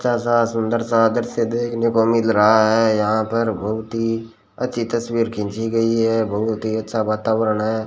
अच्छा सा सुंदर सा दृश्य देखने को मिल रहा है यहां पर बहुत ही अच्छी तसवीर खींची गई है बहुत ही अच्छा वातावरण है।